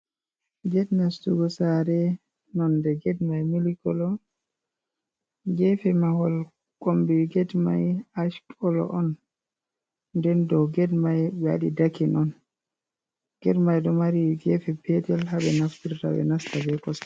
Gate nastugo saare non de gate mai milik kolo, gefe mahol kombi gate mai ash kolo on, nden do gate mai ɓe wadi daki on, gate mai do mari gefe petel habe naftirta be nasta be kosɗe.